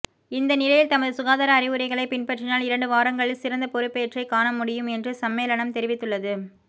இந்தநிலையில் தமது சுகாதார அறிவுரைகளை பின்பற்றினால் இரண்டு வாரங்களில் சிறந்த பெறுபேற்றை காணமுடியும் என்று சம்மேளனம் தெரிவித்துள்ளது